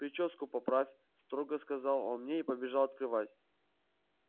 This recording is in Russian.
причёску поправь строго сказал он мне и побежал открывать